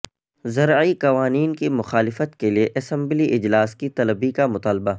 زرعی قوانین کی مخالفت کیلئے اسمبلی اجلاس کی طلبی کا مطالبہ